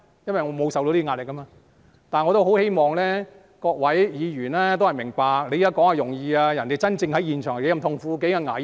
因為我沒有受壓力，但我十分希望各位議員明白，在這裏說話是很容易的，但真正在現場是多麼痛苦和危險呢？